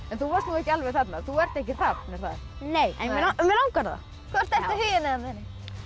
þú varst nú ekki alveg þarna þú ert ekki hrafn er það nei en mig langar það hvort ertu Huginn eða muninn